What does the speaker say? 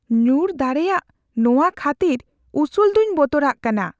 ᱧᱩᱨ ᱫᱟᱲᱮᱭᱟᱜ ᱱᱚᱶᱟ ᱠᱷᱟᱹᱛᱤᱨ ᱩᱥᱩᱞ ᱫᱚᱧ ᱵᱚᱛᱚᱨᱟᱜ ᱠᱟᱱᱟ ᱾